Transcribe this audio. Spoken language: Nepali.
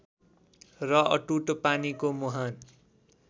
र अटुट पानीको मुहान